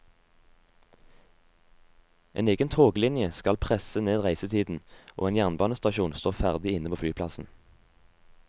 En egen toglinje skal presse ned reisetiden, og en jernbanestasjon står ferdig inne på flyplassen.